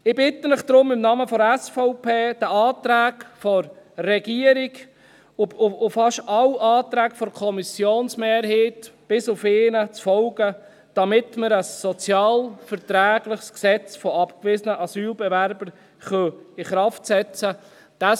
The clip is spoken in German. Ich bitte Sie deshalb im Namen der SVP, den Anträgen der Regierung und fast allen Anträgen der Kommissionsmehrheit zu folgen, bis auf einen, damit wir ein sozialverträgliches Gesetz zu abgewiesenen Asylbewerbern in Kraft setzen können.